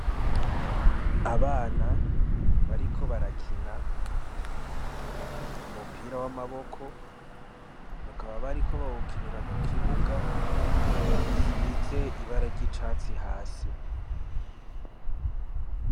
Abana bariko barakina umupira wamaboko bakaba bariko bawukinira ku kibuga gisize ibara ry'icatsi hasi.